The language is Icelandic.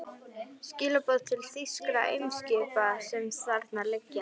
Skilaboð til þýskra eimskipa, sem þarna liggja.